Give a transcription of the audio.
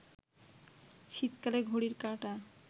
শীতকালে ঘড়ির কাঁটা